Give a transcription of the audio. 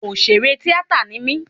Òṣèré tíátà ni mí